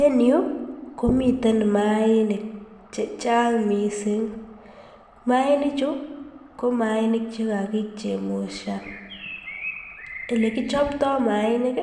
En yuu komiten mainik chechang mising, mainichu ko mainik chekakichemushan, elekichopto mainik